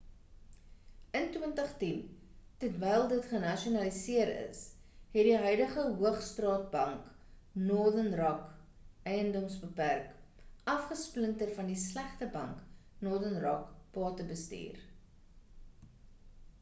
in 2010 terwyl dit genasionaliseer is het die huidige hoogstraat bank northern rock edms. bpk. afgesplinter van die ‘slegte bank’ northern rock batebestuur